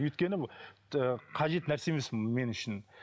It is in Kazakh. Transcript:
өйткені қажет нәрсе емес мен үшін